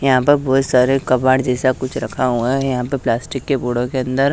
यहां पर बहुत सारे कबाड़ जैसा कुछ रखा हुआ है यहां पे प्लास्टिक के बोरों के अंदर--